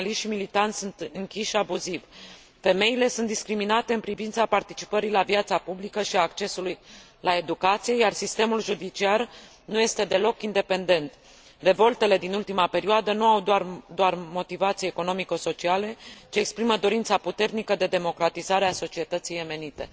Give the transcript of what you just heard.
Jurnaliști și militanți sunt închiși abuziv. Femeile sunt discriminate în privința participării la viața publică și a accesului la educație, iar sistemul judiciar nu este deloc independent. Revoltele din ultima perioadă nu au doar o motivație economico socială, ci exprimă dorința puternică de democratizare a societății yemenite.